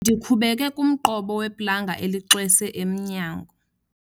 Ndikhubeke kumqobo weplanga elixwese emnyango.